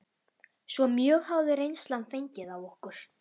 Svo mjög hafði reynslan fengið á okkur.